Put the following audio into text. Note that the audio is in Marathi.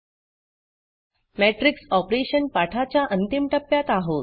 मॅट्रिक्स Operationमेट्रिक्स ऑपरेशन पाठाच्या अंतिम टप्प्यात आहोत